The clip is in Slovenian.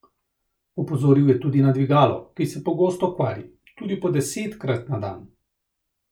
Opozoril je tudi na dvigalo, ki se pogosto kvari, tudi po desetkrat na dan.